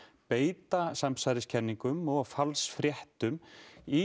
beita samsæriskenningum og falsfréttum í